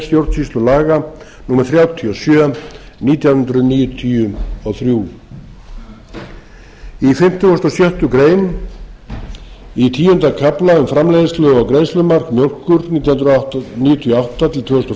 grein stjórnsýslulaga númer þrjátíu og sjö nítján hundruð níutíu og þrjú í fimmtugasta og sjöttu grein í tíunda kafla um framleiðslu og greiðslumark mjólkur nítján hundruð níutíu og átta til tvö þúsund og fimm